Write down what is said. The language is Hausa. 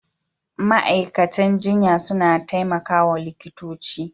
Ma'aikatan jinya suna taimaka wa likitoci.